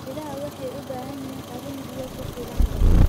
Idaha waxay u baahan yihiin qalin biyo ku filan leh.